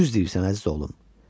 Düz deyirsən, əziz oğlum.